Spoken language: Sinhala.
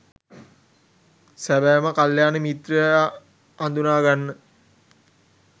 සැබෑම කළ්‍යාණ මිත්‍රයා හඳුනාගන්න